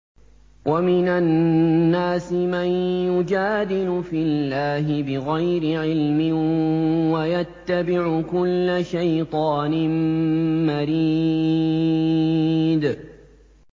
وَمِنَ النَّاسِ مَن يُجَادِلُ فِي اللَّهِ بِغَيْرِ عِلْمٍ وَيَتَّبِعُ كُلَّ شَيْطَانٍ مَّرِيدٍ